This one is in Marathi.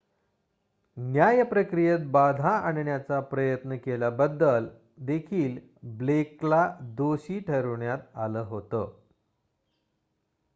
न्याय प्रक्रियेत बाधा आणण्याचा प्रयत्न केल्याबद्दल देखील ब्लेकला दोषी ठरविण्यात आलं होतं